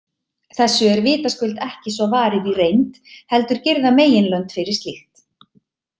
Þessu er vitaskuld ekki svo varið í reynd, heldur girða meginlönd fyrir slíkt.